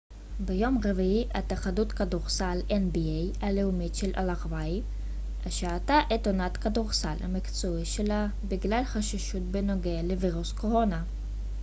"ביום רביעי התאחדות הכדורסל הלאומית של ארה""ב nba השעתה את עונת הכדורסל המקצועי שלה בגלל חששות בנוגע לווירוס הקורונה.